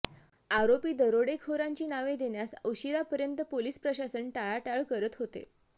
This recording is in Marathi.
आरोपी दरोडेखोरांची नावे देण्यास उशिरापर्यत पोलिस प्रशासन टाळाटाळ करत होते